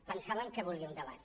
pensàvem que volia un debat